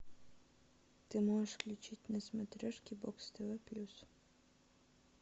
ты можешь включить на смотрешке бокс тв плюс